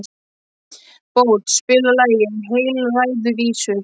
Bót, spilaðu lagið „Heilræðavísur“.